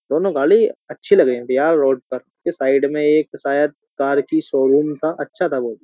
दोनों गाड़ी अच्छी लग रही थी यार रोड पर के साइड में एक शायद कार की शोरूम था अच्छा था बहुत।